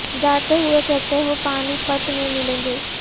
جاتے ہوئے کہتے ہو پانی پت میں ملیں گے